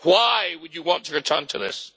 Why would you want to return to this?